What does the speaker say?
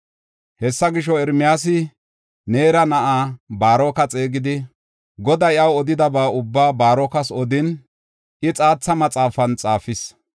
Hessa gisho, Ermiyaasi Neera na7aa Baaroka xeegidi, Goday iyaw odidaba ubbaa Baarokas odin, I xaatha maxaafan xaafis.